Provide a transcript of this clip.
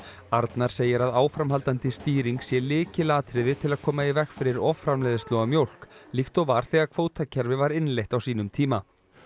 arnar segir að áframhaldandi stýring sé lykilatriði til að koma í veg fyrir offramleiðslu á mjólk líkt og var þegar kvótakerfi var innleitt á sínum tíma